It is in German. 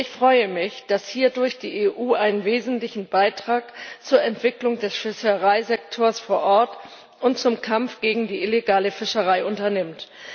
Ich freue mich, dass die EU hierdurch einen wesentlichen Beitrag zur Entwicklung der Fischereisektors vor Ort und zum Kampf gegen die illegale Fischerei unternimmt.